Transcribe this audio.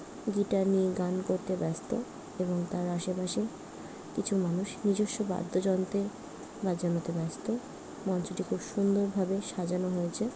Guitar নিয়ে গান করতে ব্যস্ত এবং তার আশেপাশে কিছু মানুষ নিজস্ব বাদ্যযন্ত্রের বাজানতে ব্যস্ত মঞ্চটি খুব সুন্দরভাবে সাজানো হয়েছে।